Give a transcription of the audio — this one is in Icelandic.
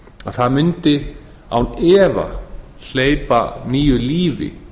það mundi án efa hleypa nýju lífi